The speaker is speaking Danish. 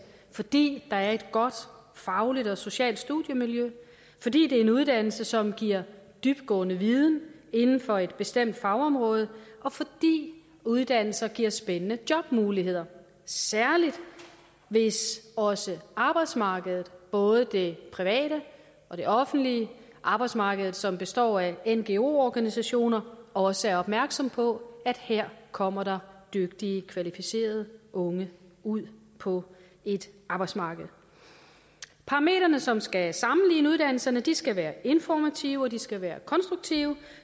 fordi der er et godt fagligt og socialt studiemiljø fordi det er en uddannelse som giver dybtgående viden inden for et bestemt fagområde og fordi uddannelser giver spændende jobmuligheder særlig hvis også arbejdsmarkedet både det private og det offentlige arbejdsmarkedet som består af ngo organisationer også er opmærksom på at her kommer der dygtige kvalificerede unge ud på et arbejdsmarked parametrene som skal sammenligne uddannelserne skal være informative og de skal være konstruktive